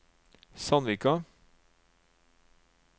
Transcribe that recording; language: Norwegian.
Sandvika